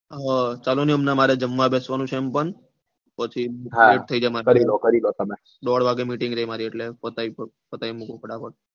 હ ચાલો ને હમણાં જમાવા બેસવાનું છે એમ પણ પછી દોડ વાગે meeting રે મારી એટલે પતાઈ પતાઈ મુકું ફટાફટ